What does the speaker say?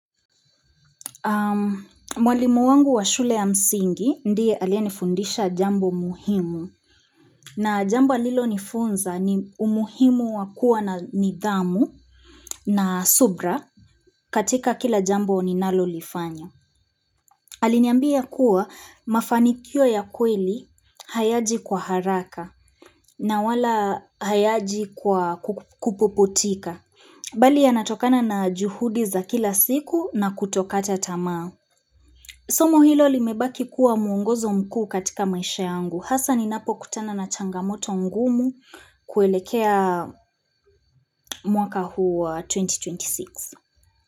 Mwalimu wangu wa shule ya msingi, ndiye alie nifundisha jambo muhimu. Na jambo alilo nifunza ni umuhimu wakuwa na nidhamu na subra katika kila jambo ninalo lifanya. Aliniambia kuwa mafanikio ya kweli hayaji kwa haraka na wala hayaji kwa kupuputika. Bali yanatokana na juhudi za kila siku na kutokata tamaa. Somo hilo limebaki kuwa mwongozo mkuu katika maisha yangu. Hasa ninapo kutana na changamoto ngumu kuelekea mwaka huu wa 2026.